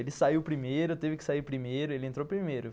Ele saiu primeiro, teve que sair primeiro, ele entrou primeiro.